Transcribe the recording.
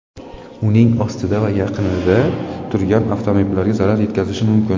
uning ostida va yaqinida turgan avtomobillarga zarar yetkazishi mumkin.